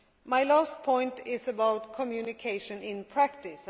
My last point is about communication in practice.